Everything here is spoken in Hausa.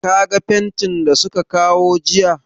Ka ga fentin da su ka kawo jiya?